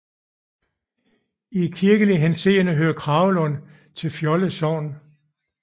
I kirkelig henseende hører Kragelund til Fjolde Sogn